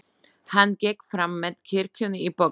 Hann gekk fram með kirkjunni í þokunni.